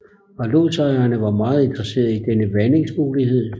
Lodsejerne var meget interesserede i denne vandingsmulighed